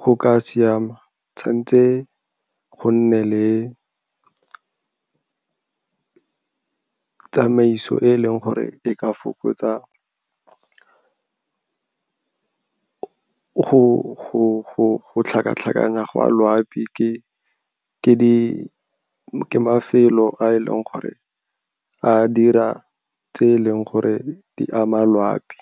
go ka siama, tshwantse go nne le tsamaiso e e leng gore e ka fokotsa go tlhakatlhakana go a loapi ke mafelo a e leng gore a dira tse e leng gore di ama loapi.